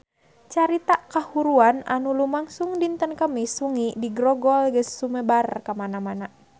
Carita kahuruan anu lumangsung dinten Kemis wengi di Grogol geus sumebar kamana-mana